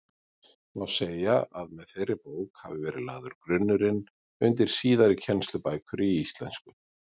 Má segja að með þeirri bók hafi verið lagður grunnurinn undir síðari kennslubækur í íslensku.